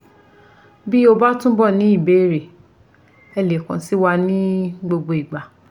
Bí o ba túbọ̀ ní ìbéèrè ẹ lè kàn sí wa ní gbogbo ìgbà